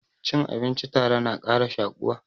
Cin abinci tare na ƙara shaƙuwa